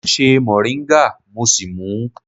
Mo ṣe mọ̀ríńgà mo sì mú ú.